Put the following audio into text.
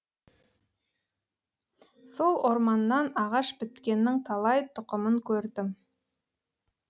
сол орманнан ағаш біткеннің талай тұқымын көрдім